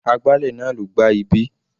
Agbálẹ̀ náà ló gbá ibí.